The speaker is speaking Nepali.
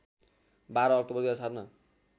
१२ अक्टोबर २००७ मा